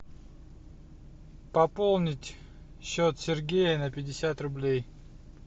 пополнить счет сергея на пятьдесят рублей